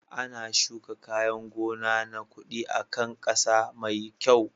Ana shuka kayan gona na kuɗi a kan ƙasa mai kyau.